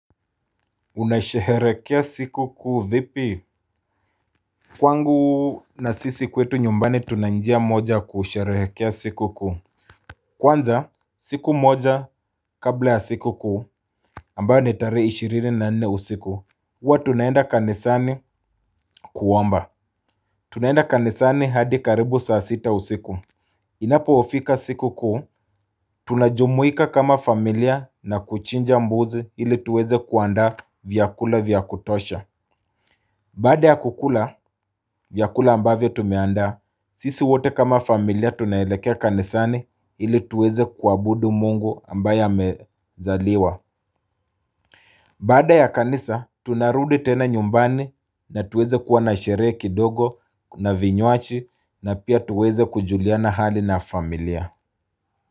Unasheherekea siku kuu vipi Kwangu na sisi kwetu nyumbani tunanjia moja kusherehekea siku kuu Kwanza siku moja kabla ya siku kuu ambayo ni tarehe ishirini na nane usiku Uwa tunaenda kanisani kuomba Tunaenda kanisani hadi karibu saa sita usiku Inapofika siku kuu Tunajumuika kama familia na kuchinja mbuzi ili tuweze kuandaa vyakula vyakutosha Baada ya kukula, vyakula ambavyo tumeandaa, sisi wote kama familia tunaelekea kanisani ili tuweze kuabudu mungu ambaye amezaliwa. Bada ya kanisa, tunarudi tena nyumbani na tuweze kuwa na sherehe kidogo na vinywaji na pia tuweze kujuliana hali na familia.